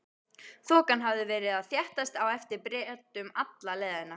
Þokan hafði verið að þéttast á eftir Bretum alla leiðina.